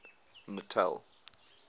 natal